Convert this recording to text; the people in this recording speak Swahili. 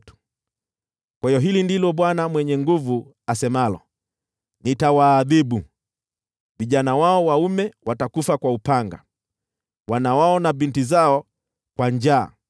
kwa hiyo hili ndilo Bwana Mwenye Nguvu Zote asemalo: ‘Nitawaadhibu. Vijana wao waume watakufa kwa upanga, wana wao na binti zao kwa njaa.